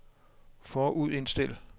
forudindstil